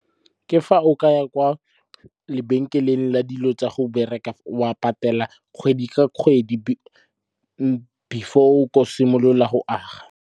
Ke fa o ka ya kwa lebenkeleng la dilo tsa go bereka. Wa patela kgwedi ka kgwedi before tlo simolola go aga.